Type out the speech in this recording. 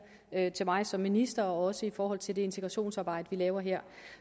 af mig som minister også i forhold til det integrationsarbejde vi laver her